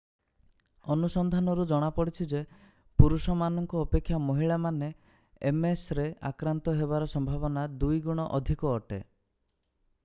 ଅନୁସନ୍ଧାନରୁ ଜଣାପଡ଼ିଛି ଯେ ପୁରୁଷ ମାନଙ୍କ ଅପେକ୍ଷା ମହିଳାମାନେ msରେ ଆକ୍ରାନ୍ତ ହେବାର ସମ୍ଭାବନା ଦୁଇ ଗୁଣ ଅଧିକ ଅଟେ।